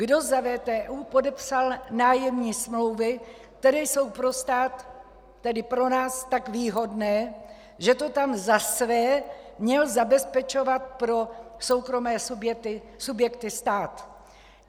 Kdo za VTÚ podepsal nájemní smlouvy, které jsou pro stát, tedy pro nás tak výhodné, že to tam za své měl zabezpečovat pro soukromé subjekty stát?